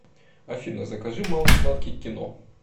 афина закажи малый сладкий к кино